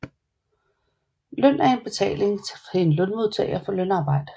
Løn er en betaling til en lønmodtager for lønarbejde